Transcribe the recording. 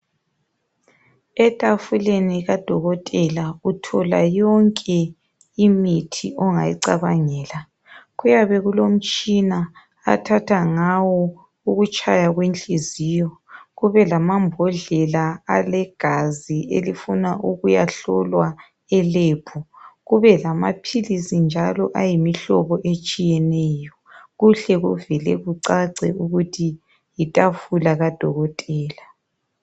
Etafuleni kadokotela uthola yonke imithi ongiyicabahgela. Kuyabe kulomtshina athatha ngaya ukutshaya kwenhliziyo. Kubelamambodlela, alegazi elifuna ukuyahlolwa eLab. Kubelamaphilisi njalo, ayimihlobo etshiyeneyo. Kuhle kuvele kuccace ukuthi yitafula kadokotela.